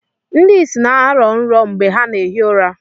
Ndị ịsị na-arọ nrọ mgbe ha na-ehi ụra.